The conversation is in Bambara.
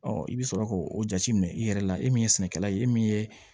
i bɛ sɔrɔ k'o jateminɛ i yɛrɛ la e min ye sɛnɛkɛla ye e min ye